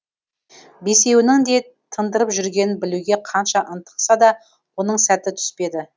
бесеуінің не тындырып жүргенін білуге қанша ынтықса да оның сәті түспеді